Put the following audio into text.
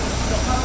Yaxşı, yox.